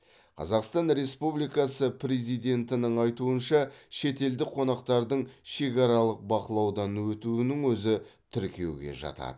қазақстан республикасы президентінің айтуынша шетелдік қонақтардың шекаралық бақылаудан өтуінің өзі тіркеуге жатады